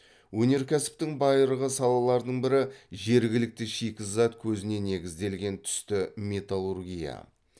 өнеркәсіптің байырғы салаларының бірі жергілікті шикізат көзіне негізделген түсті металлургия